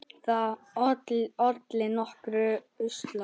Það olli nokkrum usla.